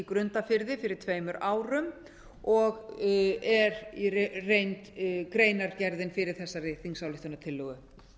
grundarfirði fyrir tveimur árum og er í reynd greinargerðin fyrir þessari þingsályktunartillögu